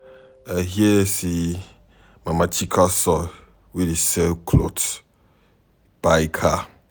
I hear say Mama Chika son wey dey sell cloth buy car.